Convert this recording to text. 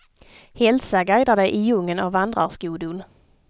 Hälsa guidar dig i djungeln av vandrarskodon.